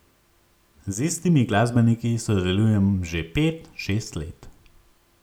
Z istimi glasbeniki sodelujem že pet, šest let.